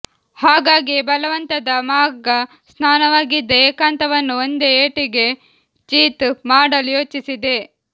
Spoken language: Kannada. ಹಾಗಾಗಿಯೇ ಬಲವಂತದ ಮಾಘ ಸ್ನಾನವಾಗಿದ್ದ ಏಕಾಂತವನ್ನು ಒಂದೇ ಏಟಿಗೆ ಚಿತ್ ಮಾಡಲು ಯೋಚಿಸಿದೆ